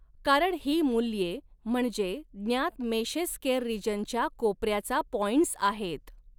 कारण ही मूल्ये म्हणजे ज्ञात मेशेस स्केयर रीज़नच्या कोपऱ्याचा पॉइंट्स आहेत.